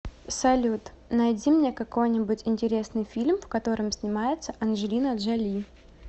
салют найди мне какой нибудь интересный фильм в котором снимается анджелина джоли